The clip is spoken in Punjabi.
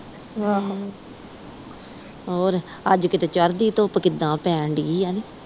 ਅੱਜ ਚੜ੍ਹਦੀ ਧੁੱਪ ਕਿਦਾਂ ਪੈਣ ਦਈ ਆ।